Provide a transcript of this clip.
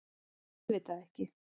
Auðvitað ekki.